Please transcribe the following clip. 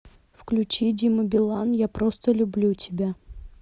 включи дима билан я просто люблю тебя